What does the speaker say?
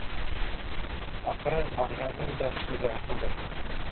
ақыры мағжанның да көзі ашылды